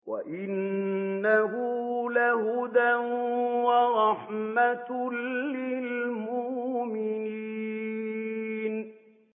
وَإِنَّهُ لَهُدًى وَرَحْمَةٌ لِّلْمُؤْمِنِينَ